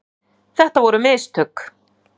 Þetta voru mistök.